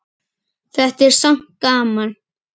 Þetta er samt gaman.